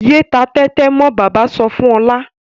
Yéé ta tẹ́tẹ́ mọ́! Bàbá sọ fún Ọlá.